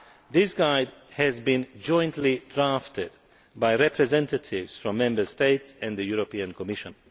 The guide was jointly drafted by representatives from Member States and the European Commission.